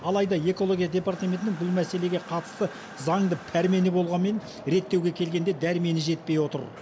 алайда экология департаментінің бұл мәселеге қатысты заңды пәрмені болғанмен реттеуге келгенде дәрмені жетпей отыр